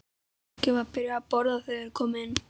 Fólkið var byrjað að borða þegar þeir komu inn.